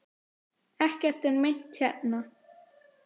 Ekkert er meint hérna.